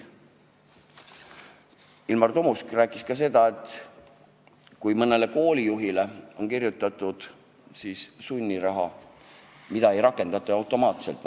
Ilmar Tomusk rääkis ka seda, et kui mõnele koolijuhile on välja kirjutatud sunniraha, siis seda ei rakendata automaatselt.